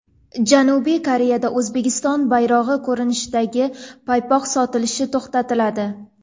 Janubiy Koreyada O‘zbekiston bayrog‘i ko‘rinishidagi paypoq sotilishi to‘xtatiladi .